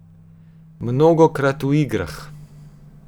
Mnogokrat v igrah.